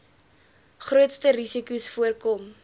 grootste risikos voorkom